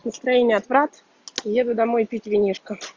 настроение отвратительное еду домой пить винишко